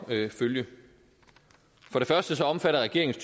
ved at følge for det første omfatter regeringens